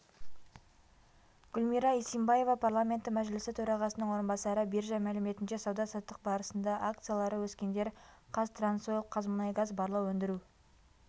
гүлмира исимбаева парламенті мәжілісі төрағасының орынбасары биржа мәліметінше сауда-саттық барысында акциялары өскендер қазтрансойл қазмұнайгаз барлау өндіру